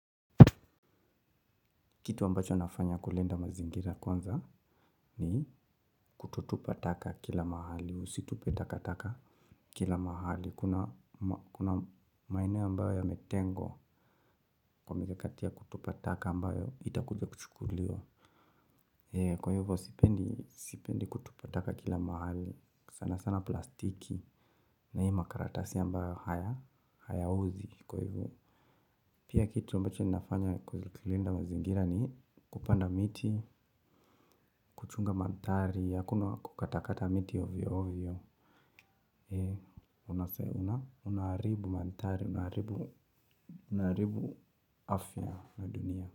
Kitu ambacho nafanya kulinda mazingira kwanza ni kutotupa taka kila mahali, usitupe taka taka kila mahali. Kuna maeneo ambayo yametengwa kwa mikakati ya kutupa taka ambayo itakuja kuchukuliwa. Kwa hivyo sipendi kutupa taka kila mahali, sana sana plastiki na hii makaratasi ambayo haya uzwi kwa hivyo. Pia kitu ambacho nafanya kuzililinda mazingira ni kupanda miti, kuchunga manthari, hakuna kukatakata miti ovyo ovyo. Unaharibu manthari, unaharibu afya na dunia.